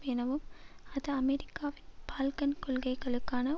எனவும் அது அமெரிக்காவின் பால்கன் கொள்கைகளுக்கான